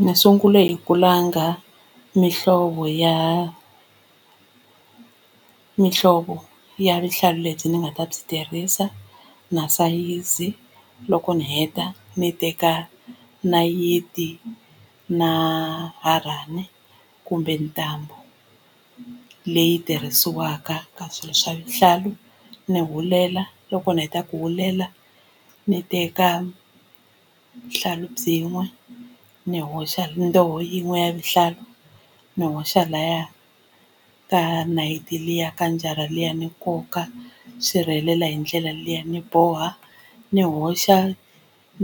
Ndzi sungule hi ku langa mihlovo ya mihlovo ya vuhlalu lebyi ni nga ta byi tirhisa na sayizi loko ni heta ni teka nayiti na harhani kumbe ntambu leyi tirhisiwaka ka swilo swa vuhlalu ni hulela loko ni heta ku hulela ni teka vuhlalu byin'we ni hoxa ndzoho yin'we ya vuhlalu ni hoxa laya ka nayiti liya ka njara liya ni nkoka swi rhelela hi ndlela liya ni boha ni hoxa